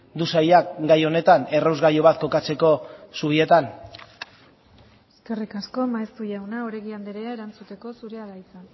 du sailak gai honetan errasgailu bat kokatzeko zubietan eskerrik asko maeztu jauna oregi andrea erantzuteko zurea da hitza